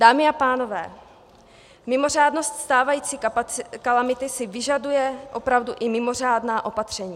Dámy a pánové, mimořádnost stávající kalamity si vyžaduje opravdu i mimořádná opatření.